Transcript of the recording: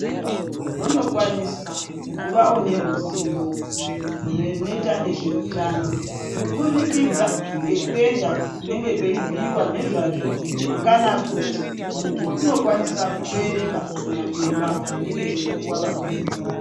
Anhu vanokwanisa kuvawo neruzivo runoita nezvetano, kubudikidza ngekuenda kunenge kweibhiiwa nezvazvo kana kuti muntu unokwanisa kutoerenga zvimaphepha zvinenge zveipiwa vamweni.